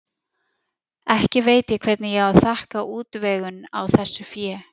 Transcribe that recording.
Ekki veit ég hvernig ég á að þakka útvegun á þessu fé.